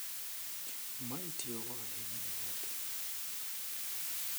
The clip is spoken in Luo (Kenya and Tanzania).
ma itiyogo ahinya ne nyathi,